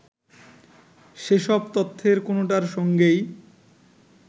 সেসব তথ্যের কোনোটার সঙ্গেই